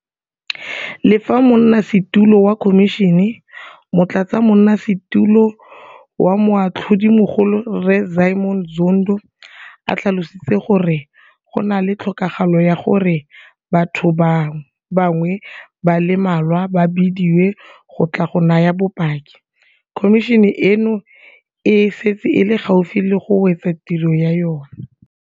Le fa Monnasetulo wa Khomišene, Motlatsamonna setulo wa Moatlhodimogolo Rre Raymond Zondo a tlhalositse gore go na le tlhokagalo ya gore batho ba bangwe ba le mmalwa ba bidiwe go tla go naya bopaki, khomišene eno e setse e le gaufi le go wetsa tiro ya yona.